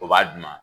O b'a d'u ma